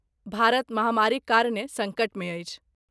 भारत महामारीक कारणे सङ्कटमे अछि।